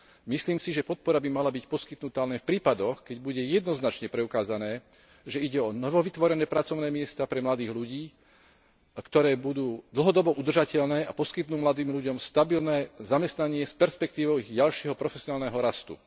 Myslím si, že podpora by mala byť poskytnutá len v prípadoch, keď bude jednoznačne preukázané, že ide o novovytvorené pracovné miesta pre mladých ľudí, ktoré budú dlhodobo udržateľné a poskytnú mladým ľuďom stabilné zamestnanie s perspektívou ich ďalšieho profesionálneho rastu.